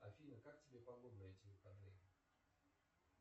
афина как тебе погода на эти выходные